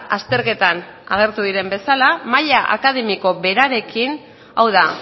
azterketan agertu diren bezala maila akademiko berarekin hau da